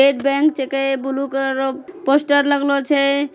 एक बेंक छकै। Blue colour रो पोस्टर लगलो छै ।